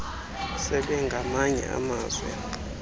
sebe ngamanye amazwi